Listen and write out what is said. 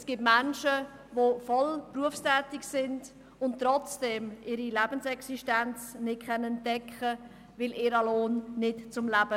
Es gibt Menschen, die voll berufstätig sind und trotzdem ihre Lebensexistenz nicht decken können, weil ihr Lohn nicht zum Leben ausreicht.